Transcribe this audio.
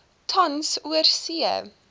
tans oorsee